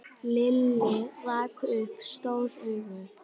Lilli rak upp stór augu.